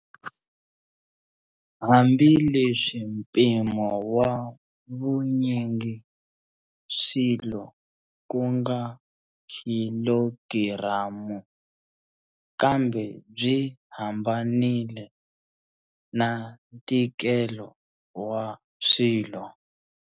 Hambi leswi mpimo wa vunyingiswilo kunga khilogiramu, kambe byi hambanile na ntikelo wa swilo.